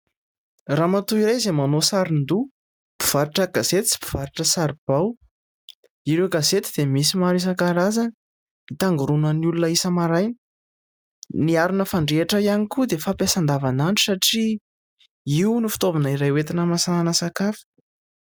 Ramatoa iray izay manao sarin-doho mpivarotra gazety sy mpivarotra sarobao . Ireo gazety dia misy maro isan-karazany hitangoronan'ny olona isa-maraina. Ny arina fandrehatra ihany koa dia fampiasa andavan'andro satria io ny fitaovana iray hoetina mahamasaka sakafo.